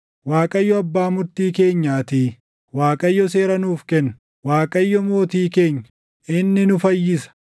Waaqayyo abbaa murtii keenyaatii; Waaqayyo seera nuuf kenna; Waaqayyo mootii keenya; inni nu fayyisa.